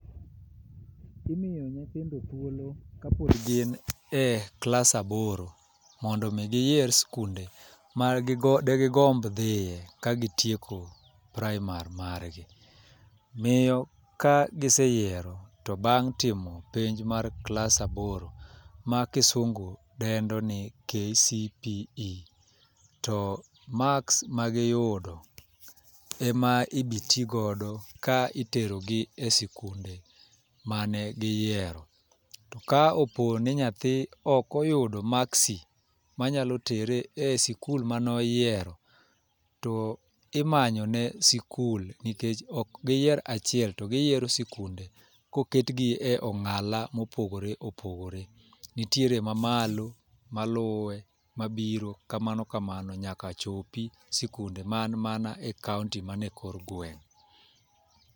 Imiyo nyithindo thuolo ka pod gin e klas aboro, mondo omi giyier sikunde ma gi degigomb dhie, ka gitieko primary margi. Miyo ka gise yiero to bang' timo penj mar klas aboro, ma kisungu dendo ni KCPE to marks ma giyudo ema ibitigodo ka itero gi sikunde mane giyiero. To ka opo ni nyathi ok oyudo maksi ma nyalo tere e sikul mane oyiero, to imanyone sikul. Nikech ok giyier achiel, to giyiero sikunde koket gi e ongála mopogore opogore. Nitiere ma malo, maluwe, mabiro, kamano kamano nyaka chopi sikunde man mana e kaunti ma nie kor gweng'.